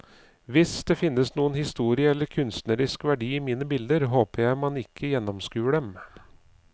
Hvis det finnes noen historie eller kunstnerisk verdi i mine bilder, håper jeg at man ikke gjennomskuer dem.